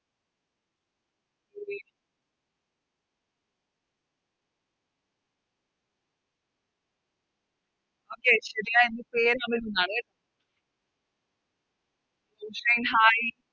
Okay ശെരിയായ Ujjain Hai